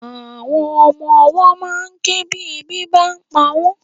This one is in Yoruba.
Àwọn ọmọwọ́ ma ń ké tí ebi bá ń pa wọ́n.